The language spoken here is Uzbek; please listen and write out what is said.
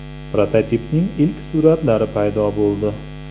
Prototipning ilk suratlari paydo bo‘ldi.